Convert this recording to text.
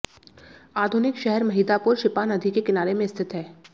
आधुनिक शहर महिदापुर शिपा नदी के किनारे में स्थित हैं